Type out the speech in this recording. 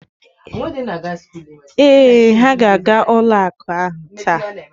Ee, ha ga-aga ụlo akụ taa.